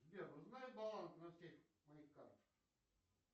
сбер узнай баланс на всех моих картах